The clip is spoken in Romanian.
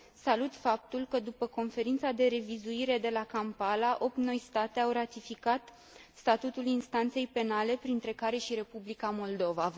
Salut faptul că, după Conferința de revizuire de la Kampala, opt noi state au ratificat statutul instanței penale, printre care și Republica Moldova.